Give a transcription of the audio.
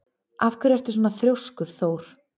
Af hverju ertu svona þrjóskur, Thór?